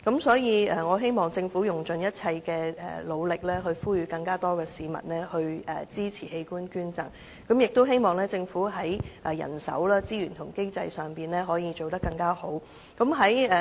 所以，我希望政府用盡一切力量，呼籲更多市民支持器官捐贈，亦希望政府在人手、資源及經濟上可以做得更好。